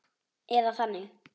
Eða þannig.